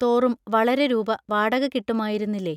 തോറും വളരെ രൂപ വാടക കിട്ടുമായിരുന്നില്ലേ?